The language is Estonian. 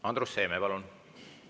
Andrus Seeme, palun!